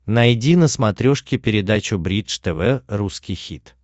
найди на смотрешке передачу бридж тв русский хит